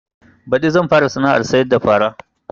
Baɗi zan fara sana'ar sayar da fara